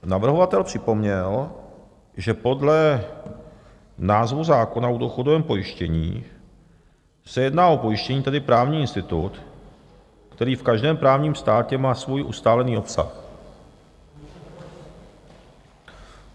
Navrhovatel připomněl, že podle názvu zákona o důchodovém pojištění se jedná o pojištění, tedy právní institut, který v každém právním státě má svůj ustálený obsah.